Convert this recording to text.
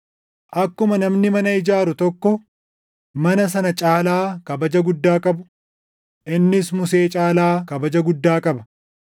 Akkuma namni mana ijaaru tokko mana sana caalaa kabaja guddaa qabu, innis Musee caalaa kabaja guddaa qaba.